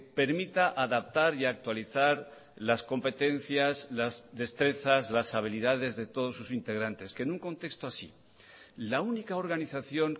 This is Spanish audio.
permita adaptar y actualizar las competencias las destrezas las habilidades de todos sus integrantes que en un contexto así la única organización